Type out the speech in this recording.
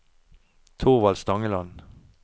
Thorvald Stangeland